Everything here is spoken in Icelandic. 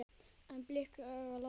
En blikur eru á lofti.